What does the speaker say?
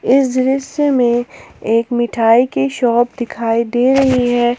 इस दृश्य मे एक मिठाई के शॉप दिखाई दे रही है।